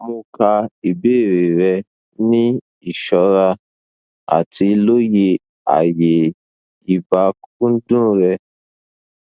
mo ka ibeere rẹ ni iṣọra ati loye aaye ibakcdun rẹ